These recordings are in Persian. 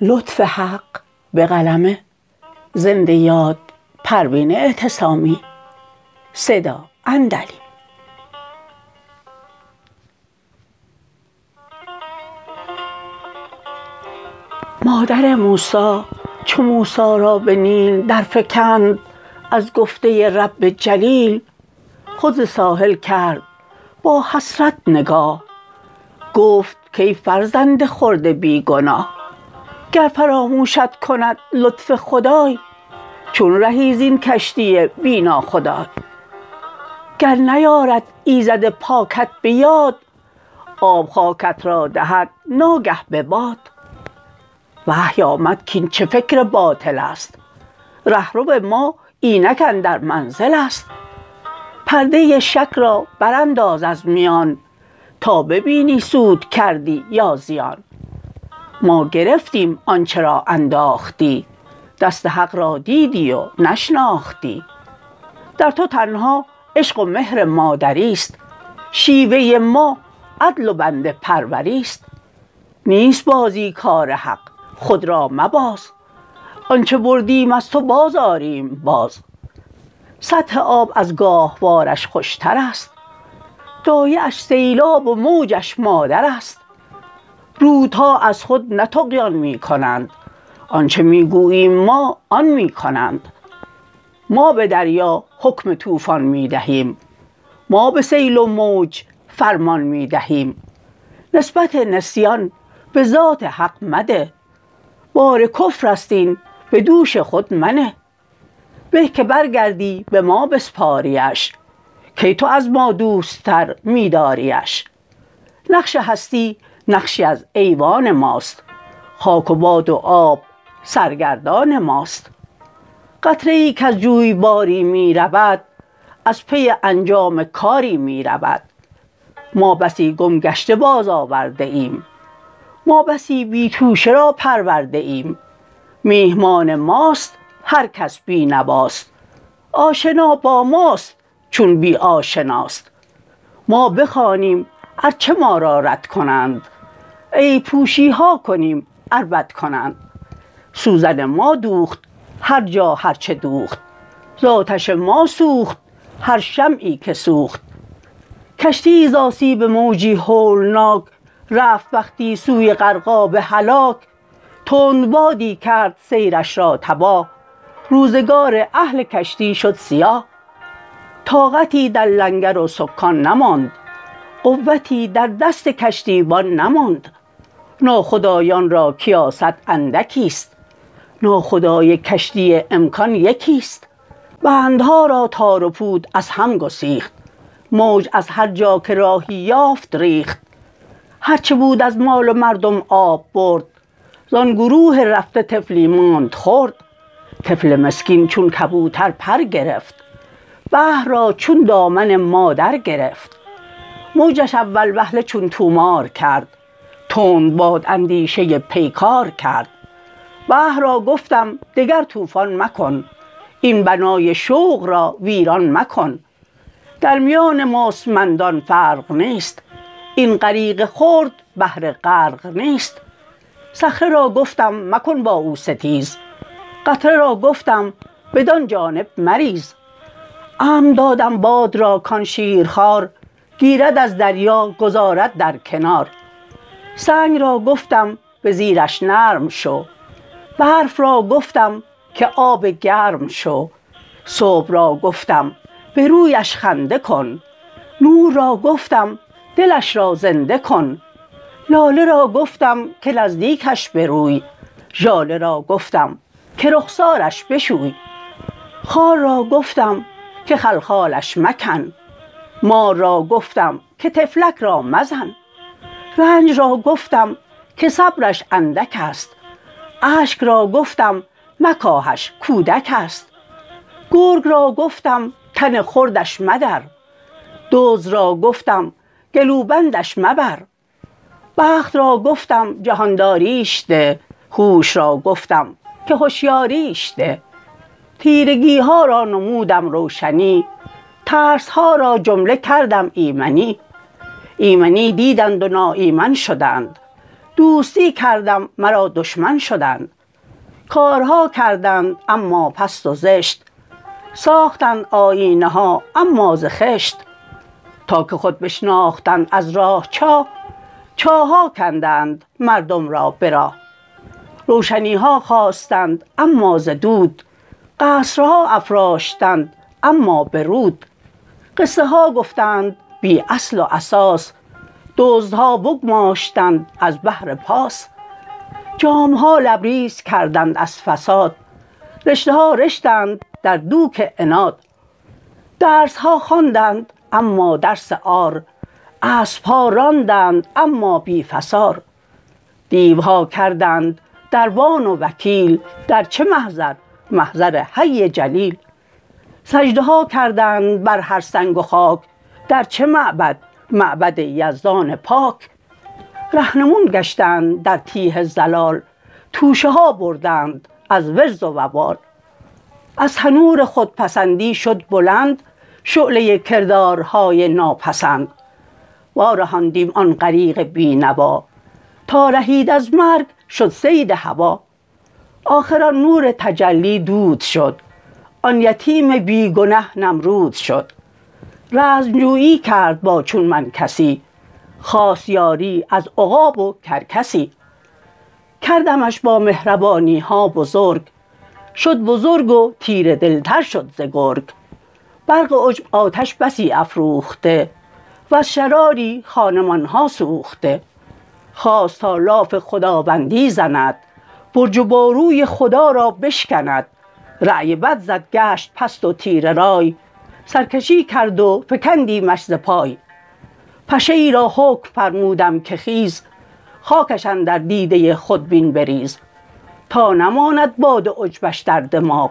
مادر موسی چو موسی را به نیل در فکند از گفته رب جلیل خود ز ساحل کرد با حسرت نگاه گفت کای فرزند خرد بی گناه گر فراموشت کند لطف خدای چون رهی زین کشتی بی ناخدای گر نیارد ایزد پاکت به یاد آب خاکت را دهد ناگه به باد وحی آمد کاین چه فکر باطل است رهرو ما اینک اندر منزل است پرده شک را برانداز از میان تا ببینی سود کردی یا زیان ما گرفتیم آنچه را انداختی دست حق را دیدی و نشناختی در تو تنها عشق و مهر مادری است شیوه ما عدل و بنده پروری است نیست بازی کار حق خود را مباز آنچه بردیم از تو باز آریم باز سطح آب از گاهوارش خوشتر است دایه اش سیلاب و موجش مادر است رودها از خود نه طغیان میکنند آنچه میگوییم ما آن میکنند ما به دریا حکم طوفان میدهیم ما به سیل و موج فرمان میدهیم نسبت نسیان بذات حق مده بار کفر است این بدوش خود منه به که برگردی بما بسپاریش کی تو از ما دوست تر میداریٖش نقش هستی نقشی از ایوان ماست خاک و باد و آب سرگردان ماست قطره ای کز جویباری میرود از پی انجام کاری میرود ما بسی گم گشته باز آورده ایم ما بسی بی توشه را پرورده ایم میهمان ماست هر کس بینواست آشنا با ماست چون بی آشناست ما بخوانیم ار چه ما را رد کنند عیب پوشیها کنیم ار بد کنند سوزن ما دوخت هر جا هر چه دوخت زاتش ما سوخت هر شمعی که سوخت کشتیی زاسیب موجی هولناک رفت وقتی سوی غرقاب هلاک تند بادی کرد سیرش را تباه روزگار اهل کشتی شد سیاه طاقتی در لنگر و سکان نماند قوتی در دست کشتیبان نماند ناخدایان را کیاست اندکیست ناخدای کشتی امکان یکیست بندها را تار و پود از هم گسیخت موج از هر جا که راهی یافت ریخت هر چه بود از مال و مردم آب برد زان گروه رفته طفلی ماند خرد طفل مسکین چون کبوتر پر گرفت بحر را چون دامن مادر گرفت موجش اول وهله چون طومار کرد تند باد اندیشه پیکار کرد بحر را گفتم دگر طوفان مکن این بنای شوق را ویران مکن در میان مستمندان فرق نیست این غریق خرد بهر غرق نیست صخره را گفتم مکن با او ستیز قطره را گفتم بدان جانب مریز امر دادم باد را کان شیرخوار گیرد از دریا گذارد در کنار سنگ را گفتم بزیرش نرم شو برف را گفتم که آب گرم شو صبح را گفتم به رویش خنده کن نور را گفتم دلش را زنده کن لاله را گفتم که نزدیکش بروی ژاله را گفتم که رخسارش بشوی خار را گفتم که خلخالش مکن مار را گفتم که طفلک را مزن رنج را گفتم که صبرش اندک است اشک را گفتم مکاهش کودک است گرگ را گفتم تن خردش مدر دزد را گفتم گلوبندش مبر بخت را گفتم جهانداریش ده هوش را گفتم که هشیاریش ده تیرگیها را نمودم روشنی ترسها را جمله کردم ایمنی ایمنی دیدند و ناایمن شدند دوستی کردم مرا دشمن شدند کارها کردند اما پست و زشت ساختند آیینه ها اما ز خشت تا که خود بشناختند از راه چاه چاهها کندند مردم را به راه روشنیها خواستند اما ز دود قصرها افراشتند اما به رود قصه ها گفتند بی اصل و اساس دزدها بگماشتند از بهر پاس جامها لبریز کردند از فساد رشته ها رشتند در دوک عناد درسها خواندند اما درس عار اسبها راندند اما بی فسار دیوها کردند دربان و وکیل در چه محضر محضر حی جلیل سجده ها کردند بر هر سنگ و خاک در چه معبد معبد یزدان پاک رهنمون گشتند در تیه ضلال توشه ها بردند از وزر و وبال از تنور خودپسندی شد بلند شعله کردارهای ناپسند وارهاندیم آن غریق بی نوا تا رهید از مرگ شد صید هویٰ آخر آن نور تجلی دود شد آن یتیم بی گنه نمرود شد رزمجویی کرد با چون من کسی خواست یاری از عقاب و کرکسی کردمش با مهربانیها بزرگ شد بزرگ و تیره دلتر شد ز گرگ برق عجب آتش بسی افروخته وز شراری خانمان ها سوخته خواست تا لاف خداوندی زند برج و باروی خدا را بشکند رای بد زد گشت پست و تیره رای سرکشی کرد و فکندیمش ز پای پشه ای را حکم فرمودم که خیز خاکش اندر دیده خودبین بریز تا نماند باد عجبش در دماغ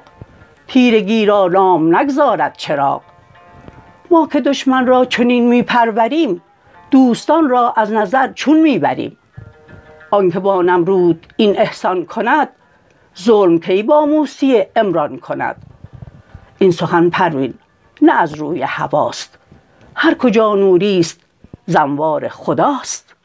تیرگی را نام نگذارد چراغ ما که دشمن را چنین میپروریم دوستان را از نظر چون میبریم آنکه با نمرود این احسان کند ظلم کی با موسی عمران کند این سخن پروین نه از روی هویٰ ست هر کجا نوری است ز انوار خداست